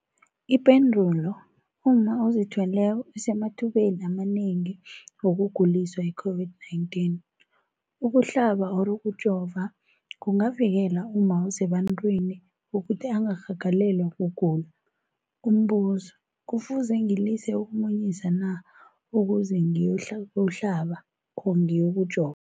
Ipendulo, umma ozithweleko usemathubeni amanengi wokuguliswa yi-COVID-19. Ukuhlaba, ukujova kungavikela umma osebantwini ukuthi angarhagalelwa kugula. Umbuzo, kufuze ngilise ukumunyisa na ukuze ngiyokuhlaba, ngiyokujova?